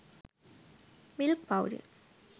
milk powder